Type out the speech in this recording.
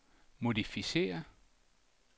modificér